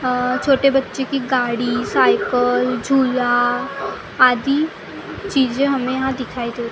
छोटे बच्चे की गाड़ी साइकिल झूला आदि चीजें हमें यहाँ दिखाई दे रही है।